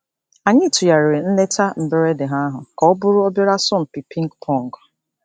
Anyị tụgharịrị nleta mberede ha ahu ka ọ bụrụ obere asọmpi pịng pọng.